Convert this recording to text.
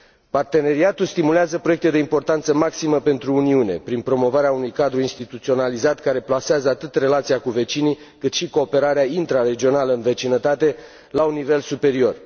Parteneriatul stimulează proiecte de importanță maximă pentru Uniune, prin promovarea unui cadru instituționalizat care plasează atât relația cu vecinii, cât și cooperarea intraregională în vecinătate, la un nivel superior.